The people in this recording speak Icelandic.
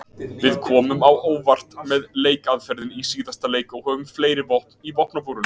Við komum á óvart með leikaðferðinni í síðasta leik og höfum fleiri vopn í vopnabúrinu.